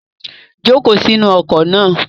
Joko si inu oko na